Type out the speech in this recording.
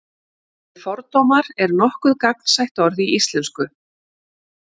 orðið fordómar er nokkuð gagnsætt orð í íslensku